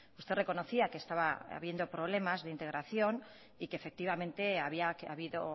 usted reconocía que estaba habiendo problemas de integración y que efectivamente había habido